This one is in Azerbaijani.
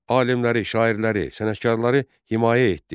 Alimləri, şairləri, sənətkarları himayə etdi.